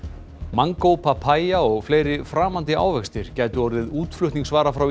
mangó papaya og fleiri framandi ávextir gætu orðið útflutningsvara frá